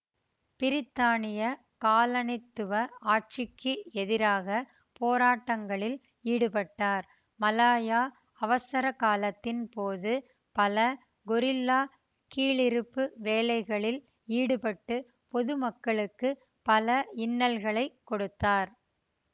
பிரித்தானிய காலனித்துவ ஆட்சிக்கு எதிராக போராட்டங்களில் ஈடுபட்டார் மலாயா அவசரகாலத்தின் போது பல கொரில்லா கீழிறுப்பு வேலைகளில் ஈடுபட்டு பொதுமக்களுக்கு பல இன்னலகளைக் கொடுத்தார்